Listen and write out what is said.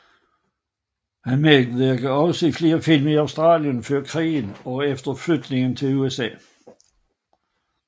Han medvirkede også i flere film i Australien før krigen og efter flytningen i USA